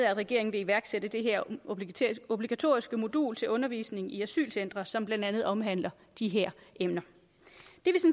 at regeringen vil iværksætte det her obligatoriske modul til undervisning i asylcentre som blandt andet omhandler de her emner